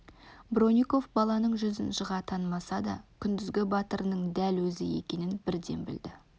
бронников баланың жүзін жыға танымаса да күндізгі батырының дәл өзі екенін бірден білді